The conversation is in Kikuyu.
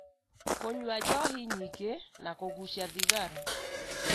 kũnyua njohi nyingĩ na kũgucia thigara,